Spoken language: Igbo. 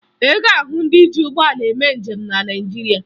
Ị ga-ahụ ndị ji ụgbọala eme njem na Naịjirịa